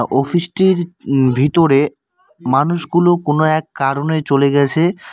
অফিসটির ভিতরে মানুষগুলো কোনো এক কারনে চলে গেছে।